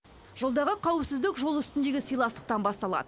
жолдағы қауіпсіздік жол үстіндегі сыйластықтан басталады